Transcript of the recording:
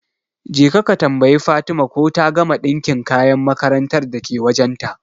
Jeka ka tambayi Fatima ko ta gama ɗinka kayan makarantar dake wajen ta